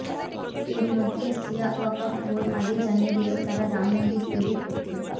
এর মধ্যে শিয়া ওয়াকফ বোর্ড আগেই জানিয়ে দিয়েছে তারা রাম মন্দির তৈরির পক্ষে